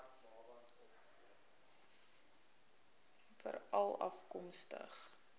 veralafkomstig